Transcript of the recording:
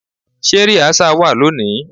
Ṣé rìásà wá lónìí?